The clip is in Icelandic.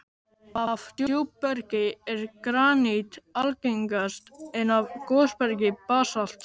Af djúpbergi er granít algengast, en af gosbergi basalt.